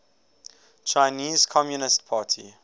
chinese communist party